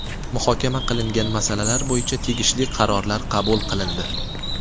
Muhokama qilingan masalalar bo‘yicha tegishli qarorlar qabul qilindi.